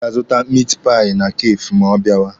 Ọ ga-azụta mit pai na kafee ma ọ bịawa.